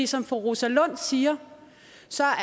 som fru rosa lund siger